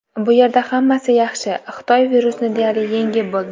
Bu yerda hammasi yaxshi, Xitoy virusni deyarli yengib bo‘ldi.